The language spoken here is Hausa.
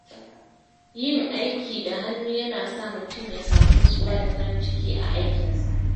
Yin aiki da hannu yana sa mutum ya sami nutsuwa da farin ciki a aikinsa.